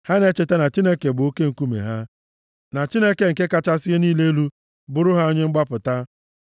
Ha na-echeta na Chineke bụ Oke nkume ha, na Chineke nke kachasị ihe niile elu bụrụ ha Onye Mgbapụta.